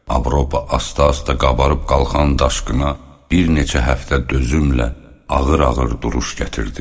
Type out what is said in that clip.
Avropa asta-asta qabarıb qalxan daşqına bir neçə həftə dözümlə ağır-ağır duruş gətirdi.